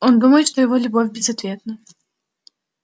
он думает что его любовь безответна